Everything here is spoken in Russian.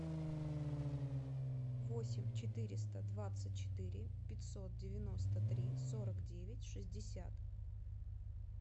восемь четыреста двадцать четыре пятьсот девяносто три сорок девять шестьдесят